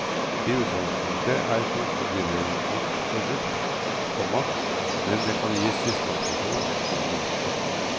I utgangspunktet er krokodilleimport forbudt, komma men det kan gis dispensasjon. punktum